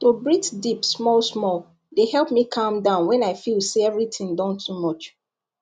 to breathe deep small small dey help me calm down when i feel say everything don too much